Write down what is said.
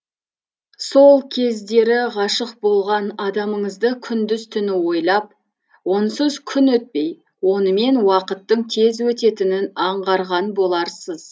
сол кездері ғашық болған адамыңызды күндіз түні ойлап онсыз күн өтпей онымен уақыттың тез өтетінін аңғарған боларсыз